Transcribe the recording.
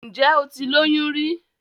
Ǹjẹ́ o ti lóyún rí?